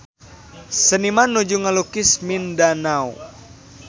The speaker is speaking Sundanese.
Seniman nuju ngalukis Mindanao